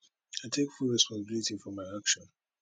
i take full responsibility for my action